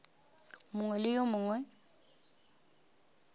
mongwe le yo mongwe yo